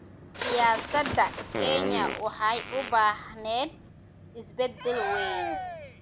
Siyaasadda Kenya waxay u baahneyd isbedel weyn.